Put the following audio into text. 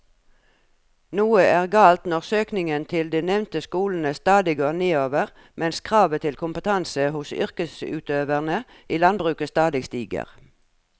Noe er galt når søkningen til de nevnte skolene stadig går nedover mens kravet til kompetanse hos yrkesutøverne i landbruket stadig stiger.